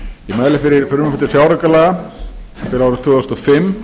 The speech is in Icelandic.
fjáraukalaga fyrir árið tvö þúsund og fimm